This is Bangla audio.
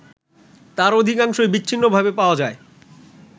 তার অধিকাংশই বিচ্ছিন্নভাবে পাওয়া যায়